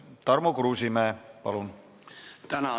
Tarmo Kruusimäe, palun!